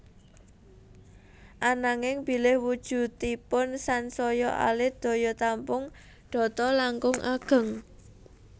Ananging bilih wujudipun sansaya alit daya tampung data langkung ageng